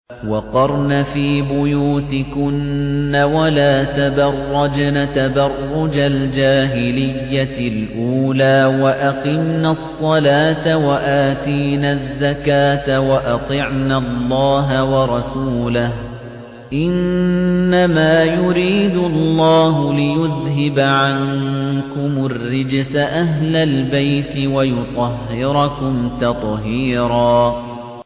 وَقَرْنَ فِي بُيُوتِكُنَّ وَلَا تَبَرَّجْنَ تَبَرُّجَ الْجَاهِلِيَّةِ الْأُولَىٰ ۖ وَأَقِمْنَ الصَّلَاةَ وَآتِينَ الزَّكَاةَ وَأَطِعْنَ اللَّهَ وَرَسُولَهُ ۚ إِنَّمَا يُرِيدُ اللَّهُ لِيُذْهِبَ عَنكُمُ الرِّجْسَ أَهْلَ الْبَيْتِ وَيُطَهِّرَكُمْ تَطْهِيرًا